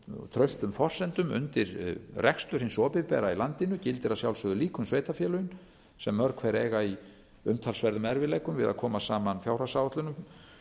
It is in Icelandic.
traustum forsendum undir rekstur hins opinbera í landinu gildir að sjálfsögðu líka um sveitarfélögin sem mörg hver eiga í umtalsverðum erfiðleikum við að koma saman fjárhagsáætlunum